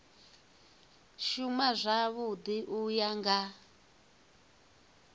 shuma zwavhui u ya nga